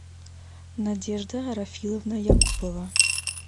надежда рафиловна якупова